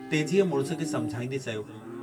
तेजीअ बेपरवाहीअ मां जवाबु डिनो।